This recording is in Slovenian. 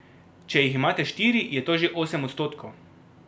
Če jih imate štiri, je to že osem odstotkov.